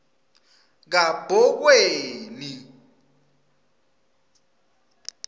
kabhokweni